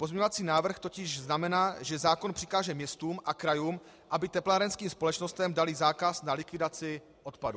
Pozměňovací návrh totiž znamená, že zákon přikáže městům a krajům, aby teplárenským společnostem daly zákaz na likvidaci odpadu.